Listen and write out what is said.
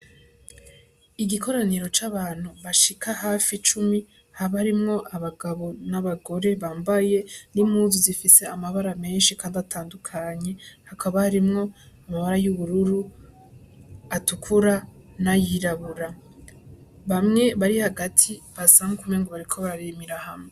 Igikoraniro c'abantu bashika hafi cumi, habarimwo abagabo n'abagore bambaye n'impuzu zifise amabara menshi kandi atandukanye, hakaba harimwo amabara y'ubururu, atukura, n'ayirabura, bamwe bari hagati basa nkuk'umengo bariko bararimira hamwe.